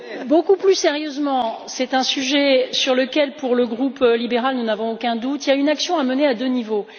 Beaucoup plus sérieusement, c'est un sujet sur lequel, pour le groupe libéral, il ne fait aucun doute qu'il y a une action à mener à deux niveaux.